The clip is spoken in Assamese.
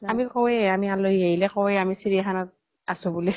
আমি কওঁয়ে, আলহী আহিলে কওঁয়ে আমি চিৰীয়াখানাত আছো বুলি।